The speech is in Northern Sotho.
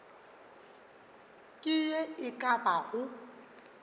ke ye e ka bago